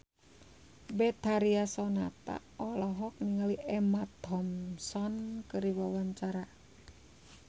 Betharia Sonata olohok ningali Emma Thompson keur diwawancara